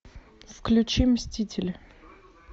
включи мстители